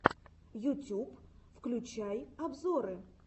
ютюб включай обзоры